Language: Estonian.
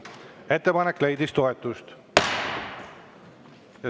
Ettepanek leidis toetust.